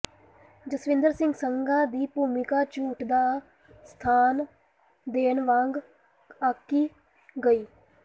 ਜਸਵਿੰਦਰ ਸਿੰਘ ਸੰਘਾ ਦੀ ਭੂਮਿਕਾ ਝੂਠ ਦਾ ਸਾਥ ਦੇਣ ਵਾਂਗ ਆਂਕੀ ਗਈ